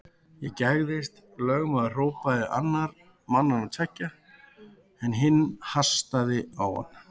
Þú gægðist, lögmaður hrópaði annar mannanna tveggja, en hinn hastaði á hann.